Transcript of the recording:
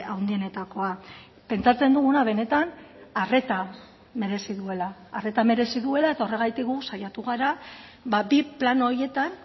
handienetakoa pentsatzen duguna benetan arreta merezi duela arreta merezi duela eta horregatik gu saiatu gara bi plan horietan